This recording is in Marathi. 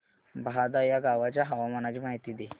बहादा या गावाच्या हवामानाची माहिती दे